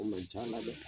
O man ca dɛ